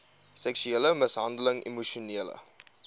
seksuele mishandeling emosionele